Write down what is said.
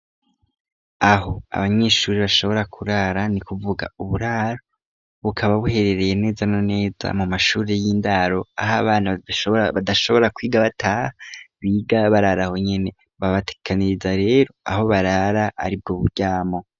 Aho abanyishuri bashobora kurara ni kuvuga uburaro bukaba buherereye neza no neza mu mashuri y'indaro aho abana badashobora kwiga bata biga bararaho nyene babatikaniriza rero aho barara ari bwo buryamo.